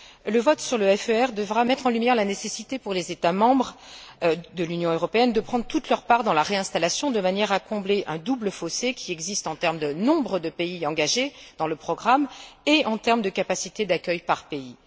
Le vote sur le FER devra mettre en lumière la nécessité, pour les États membres de l'Union européenne, de prendre toute leur part dans la réinstallation de manière à combler un double fossé qui existe en termes de nombre de pays engagés dans le programme et de capacité d'accueil par pays.